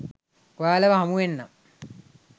ඔයාලව හමුවෙන්නම්